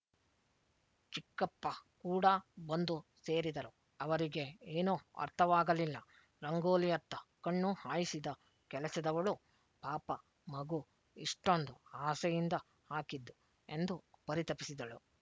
ಚಿಕ್ಕಪ್ಪ ಕೂಡ ಬಂದು ಸೇರಿದರು ಅವರಿಗೆ ಏನೂ ಅರ್ಥವಾಗಲಿಲ್ಲ ರಂಗೋಲಿಯತ್ತ ಕಣ್ಣು ಹಾಯಿಸಿದ ಕೆಲಸದವಳು ಪಾಪ ಮಗು ಇಷ್ಟೊಂದು ಆಸೆಯಿಂದ ಹಾಕಿದ್ದು ಎಂದು ಪರಿತಪಿಸಿದಳು